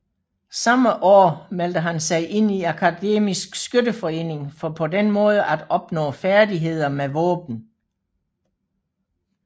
Samme år meldte han sig ind i Akademisk Skytteforening for på den måde at opnå færdigheder med våben